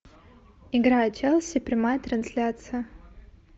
игра челси прямая трансляция